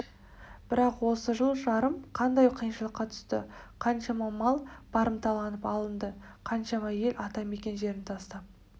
бірақ осы жыл-жарым қандай қиыншылыққа түсті қаншама мал барымталанып алынды қаншама ел ата мекен жерін тастап